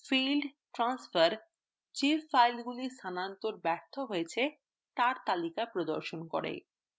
failed transfer যে ফাইলগুলি স্থানান্তর ব্যর্থ হয়েছে তার তালিকা প্রদর্শন করে